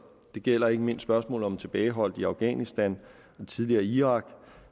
det gælder ikke mindst spørgsmålet om tilbageholdte i afghanistan og tidligere i irak